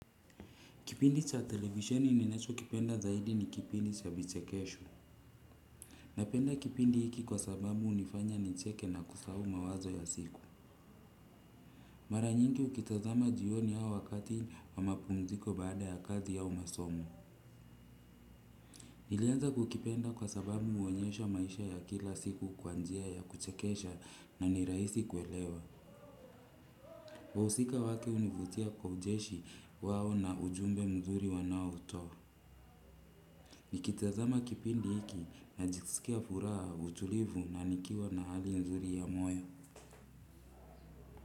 Kipindi cha televisheni ninachokipenda zaidi ni kipindi cha vichekesho. Napenda kipindi hiki kwa sababu hunifanya nicheke na kusahau mawazo ya siku. Mara nyingi ukitazama jioni au wakati wa mapumziko baada ya kazi ya umasomo. Nilianza kukipenda kwa sababu huonyesha maisha ya kila siku kwa njia ya kuchekesha na nirahisi kuelewa. Wahusika wake hunivutia kwa ucheshi wao na ujumbe mzuri wanaotoa nikizama kipindi hiki najisikia furaha, utulivu na nikiwa na hali nzuri ya moyo.